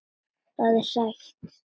Það er sætt.